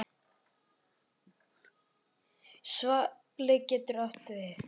Svali getur átt við